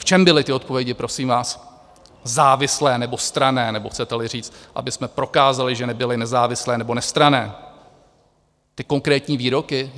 V čem byly ty odpovědi, prosím vás, závislé nebo stranné, nebo chcete-li říct, abychom prokázali, že nebyly nezávislé nebo nestranné ty konkrétní výroky?